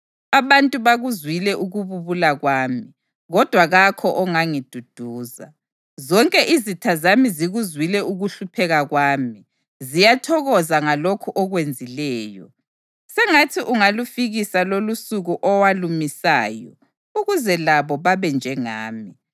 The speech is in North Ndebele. Abantu bakuzwile ukububula kwami, kodwa kakho ongangiduduza. Zonke izitha zami zikuzwile ukuhlupheka kwami; ziyathokoza ngalokhu okwenzileyo. Sengathi ungalufikisa lolusuku owalumisayo, ukuze labo babe njengami.